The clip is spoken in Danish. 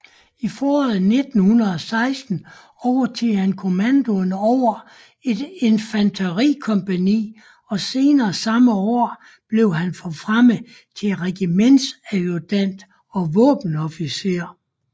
I foråret 1916 overtog han kommandoen over et infanterikompagni og senere samme år blev han forfremmet til regimentsadjudant og våbenofficer